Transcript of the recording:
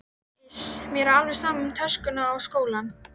Iss, mér er alveg sama um töskuna og skólann